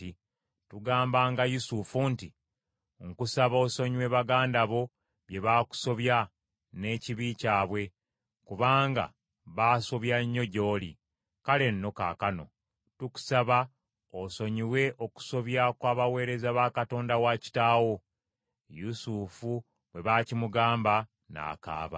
tugambanga Yusufu nti, ‘Nkusaba osonyiwe baganda bo bye bakusobya n’ekibi kyabwe, kubanga baasobya nnyo gy’oli.’ Kale nno kaakano tukusaba osonyiwe okusobya kw’abaweereza ba Katonda wa kitaawo.” Yusufu bwe baakimugamba n’akaaba.